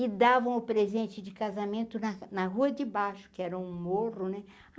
E davam o presente de casamento na na rua de baixo, que era um morro, né?